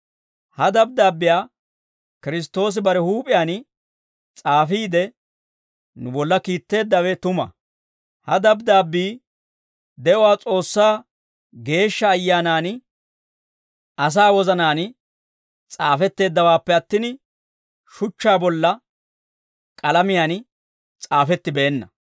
Ha dabddaabbiyaa Kiristtoosi bare huup'iyaan s'aafiide, nu bolla kiitteeddawe tuma; ha dabddaabbii de'uwaa S'oossaa Geeshsha Ayyaanan asaa wozanaan s'aafetteeddawaappe attin, shuchchaa bolla k'alamiyaan s'aafettibeenna.